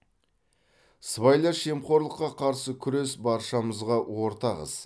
сыбайлас жемқорлыққа қарсы күрес баршамызға ортақ іс